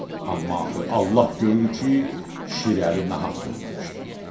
Amma axı Allah görür ki, Şirəli nahaq söz danışdı.